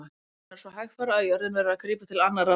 Raunar svo hægfara að jörðin verður að grípa til annarra ráða.